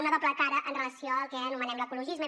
no una doble cara amb relació al que anomenem l’ecologisme